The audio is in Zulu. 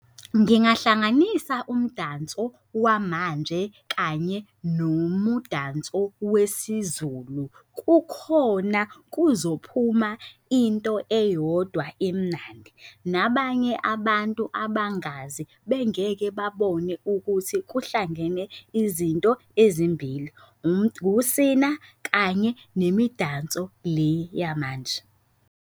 Ngingahlanganisa umdanso wamanje kanye nomudanso wesiZulu kukhona kuzophuma into eyodwa emnandi, nabanye abantu abangazi bengeke babone ukuthi kuhlangene izinto ezimbili. Ukusina kanye nemidanso le yamanje.